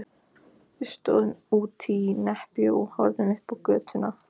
Við stóðum úti í nepjunni og horfðum upp á götuna.